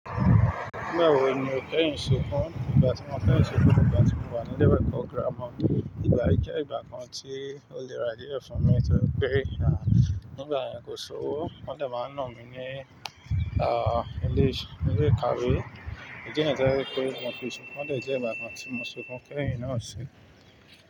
Nígbà wo ni o keyin sunkún? Ìgbà tí mo keyin sunkún ni ìgbà tí mo wà ní ile iwe eẹ̀kọ́ girama. Ìgbà yí jẹ́ ìgbà kan tí ó lera ailero fún mi nitorí pé, nígbà yẹn kò sowó, wọ́n de máa ń nà mí ní, ah, ilé ìkàwé. Idi niyení to jẹ́ pé mo fi sunkún, ọ̀ de jẹ́ ìgbà kan tí mo sunkún kẹ̀yin náà si.